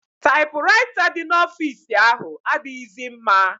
Taịpụraịta dị n'ọfici ahụ adịghịzị mma.